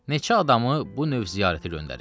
Neçə adamı bu növ ziyarətə göndərib.